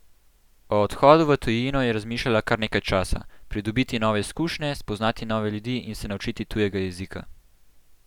O odhodu v tujino je razmišljala kar nekaj časa: "Pridobiti nove izkušnje, spoznati nove ljudi in se naučiti tujega jezika.